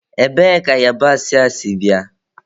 Ebee ka yabasị a sị bịa?